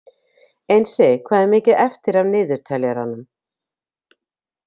Einsi, hvað er mikið eftir af niðurteljaranum?